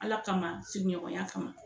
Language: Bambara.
Ala kama sigiɲɔgɔnya kama